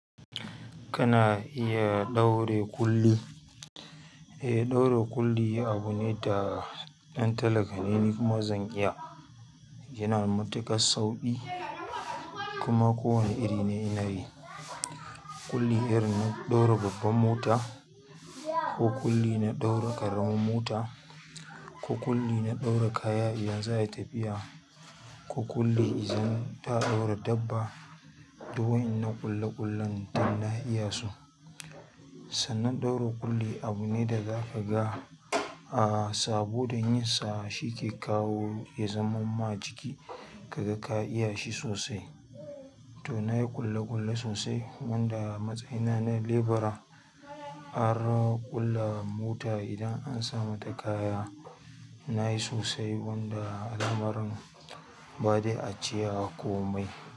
Kana iya ɗaure kulli. Eh, ɗaure kulli abune da ɗan talaka ne ni, kuma zan iya, yana matukar sauƙi. Kuma kowane iri ne inayi, kulli irin na ɗaure babban mota, ko kulli na ɗaure ƙaramin mota, ko kulli na ɗaure kayan idan za'ayi tafiya, ko kulli idan za'a ɗaure dabba. Du wa'innan ƙulle ƙullen duk na iyasu. Sannan ɗaure kulli abune da zakaga, a saboda yinsa shike kawo ya zaman ma jiki kaga ka iyashi sosai. To nayi ƙulle ƙulle sosai, wanda matsayina na lebura har ƙulla mota idan an sa mata kaya. Nayi sosai wanda lamarin. Badai a cewa komai.